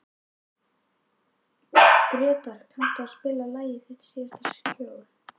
Gretar, kanntu að spila lagið „Þitt síðasta skjól“?